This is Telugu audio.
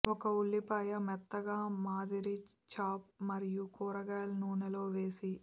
ఒక ఉల్లిపాయ మెత్తగా మాదిరి చాప్ మరియు కూరగాయల నూనె లో వేసి